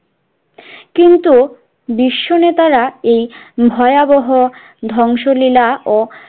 কিন্তু বিশ্ব নেতারা এই ভয়াবহ ধংশলীলা ও